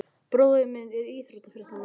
Bróðir minn er íþróttafréttamaður.